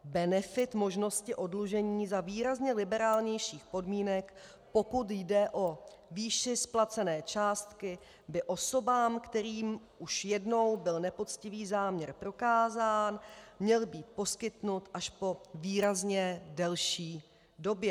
Benefit možnosti oddlužení za výrazně liberálnějších podmínek, pokud jde o výši splacené částky, by osobám, kterým už jednou byl nepoctivý záměr prokázán, měl být poskytnut až po výrazně delší době.